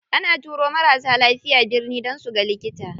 Ana turo marasa lafiya birni dan suga likita.